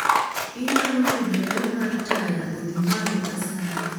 Inyalo medo ler mar taya odhi malo asayi